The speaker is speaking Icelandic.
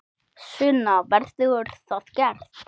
Sunna: Verður það gert?